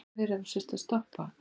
Nei, ástin mín, svarar hún.